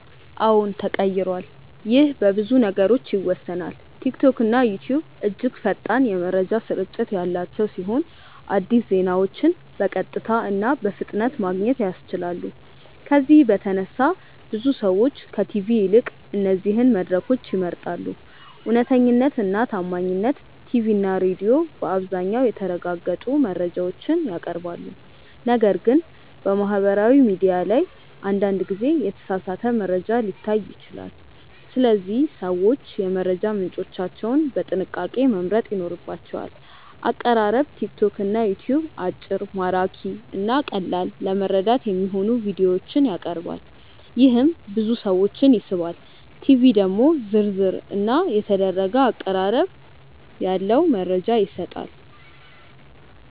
አዎን ተቀይሯል ይህ በብዙ ነገሮች ይወሰናል። ቲክቶክና ዩትዩብ እጅግ ፈጣን የመረጃ ስርጭት ያላቸው ሲሆን አዲስ ዜናዎችን በቀጥታ እና በፍጥነት ማግኘት ያስችላሉ። ከዚህ በተነሳ ብዙ ሰዎች ከቲቪ ይልቅ እነዚህን መድረኮች ይመርጣሉ። እውነተኛነት እና ታማኝነት ቲቪ እና ሬዲዮ በአብዛኛው የተረጋገጡ መረጃዎችን ያቀርባሉ፣ ነገር ግን በማህበራዊ ሚዲያ ላይ አንዳንድ ጊዜ የተሳሳተ መረጃ ሊታይ ይችላል። ስለዚህ ሰዎች የመረጃ ምንጮቻቸውን በጥንቃቄ መምረጥ ይኖርባቸዋል። አቀራረብ ቲክቶክ እና ዩትዩብ አጭር፣ ማራኪ እና ቀላል ለመረዳት የሚሆኑ ቪዲዮዎችን ያቀርባሉ፣ ይህም ብዙ ሰዎችን ይስባል። ቲቪ ደግሞ ዝርዝር እና የተደረገ አቀራረብ ያለው መረጃ ይሰጣል።